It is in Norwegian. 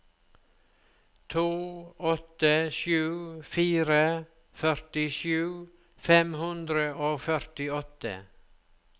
to åtte sju fire førtisju fem hundre og førtiåtte